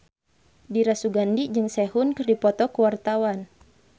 Dira Sugandi jeung Sehun keur dipoto ku wartawan